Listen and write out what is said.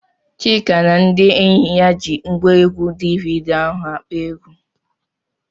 Chika na ndị enyi ya ji ngwaegwu DVD ahụ akpọ egwu.